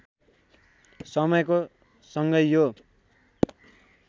समयको सँगै यो